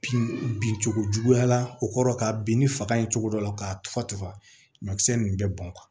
Bin bin cogo juguya la o kɔrɔ ka bin ni faga ye cogo dɔ la ka tufa tufa ɲɔkisɛ ninnu bɛ bɔn